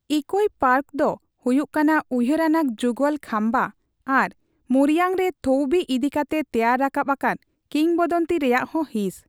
ᱤᱠᱳᱯ ᱯᱟᱴ ᱫᱚ ᱦᱩᱭᱩᱜ ᱠᱟᱱᱟ ᱩᱭᱦᱟᱹᱨ ᱟᱱᱟᱜ ᱡᱩᱜᱚᱞ ᱠᱷᱟᱢᱵᱟ ᱟᱨ ᱢᱳᱭᱨᱟᱝ ᱨᱮ ᱛᱷᱳᱭᱵᱤ ᱤᱫᱤ ᱠᱟᱛᱮ ᱛᱮᱭᱟᱨ ᱨᱟᱠᱟᱵ ᱟᱠᱟᱱ ᱠᱤᱝᱵᱚᱫᱚᱱᱛᱤ ᱨᱮᱭᱟᱜ ᱦᱚᱸ ᱦᱤᱸᱥ᱾